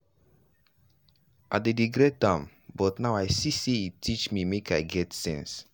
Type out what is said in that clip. i dey regret am but now i see say e teach me make i get sense.